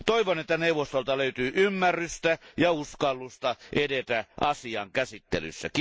Toivon, että neuvostolta löytyy ymmärrystä ja uskallusta edetä asian käsittelyssä.